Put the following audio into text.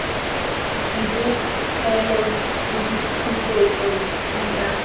dipegelo le dipusetso di tla